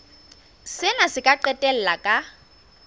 sena se ka qetella ka